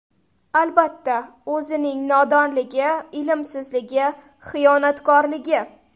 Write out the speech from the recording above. Albatta, o‘zining nodonligi, ilmsizligi, xiyonatkorligi.